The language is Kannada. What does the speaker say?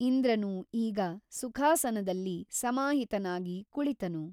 ಇಂದ್ರನು ಈಗ ಸುಖಾಸನದಲ್ಲಿ ಸಮಾಹಿತನಾಗಿ ಕುಳಿತನು.